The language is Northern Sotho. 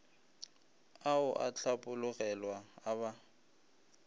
ao a hlapologelwa a ba